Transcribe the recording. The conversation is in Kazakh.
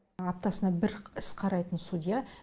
аптасына бір іс қарайтын судья